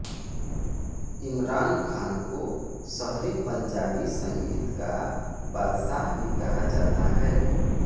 इमरान खान को शहरी पंजाबी संगीत का बादशाह भी कहा जाता है